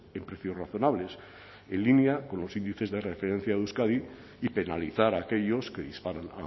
en precios razonables en línea con los índices de referencia de euskadi y penalizar a aquellos que disparan